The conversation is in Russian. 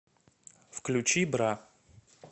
включи бра